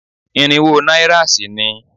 Irinwó náírà sì ni